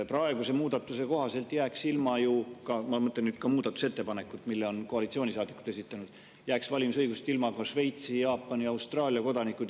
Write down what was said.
Praeguse muudatuse kohaselt – ma mõtlen ka muudatusettepanekut, mille on koalitsioonisaadikud esitanud – jääksid valimisõigusest ilma ka Šveitsi, Jaapani ja Austraalia kodanikud.